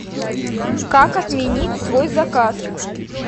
как отменить свой заказ